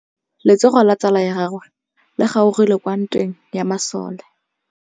Letsôgô la tsala ya gagwe le kgaogile kwa ntweng ya masole.